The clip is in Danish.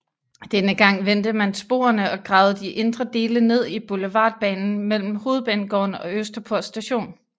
Denne gang vendte man sporene og gravede de indre dele ned i Boulevardbanen mellem Hovedbanegården og Østerport Station